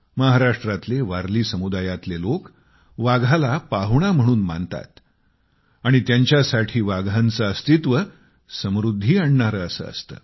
महाराष्ट्रातले वारली समुदायातले लोक वाघाला पाहुणे म्हणून मानतात आणि त्यांच्यासाठी वाघांचे अस्तित्व समृद्धी आणणारे असे असते